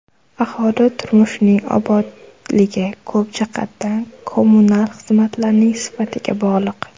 Aholi turmushining obodligi ko‘p jihatdan kommunal xizmatlarning sifatiga bog‘liq.